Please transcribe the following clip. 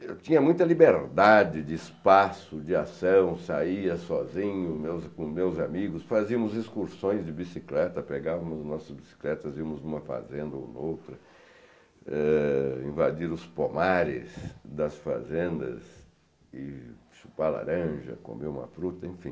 Eu tinha muita liberdade de espaço, de ação, saía sozinho os meus com meus amigos, fazíamos excursões de bicicleta, pegávamos nossas bicicletas, íamos em uma fazenda ou noutra, eh invadir os pomares das fazendas, chupar laranja, comer uma fruta, enfim.